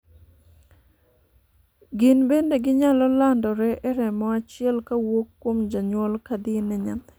gin bende ginyalo landore e remo achiel kowuok kuom janyuol kadhi ne nyathi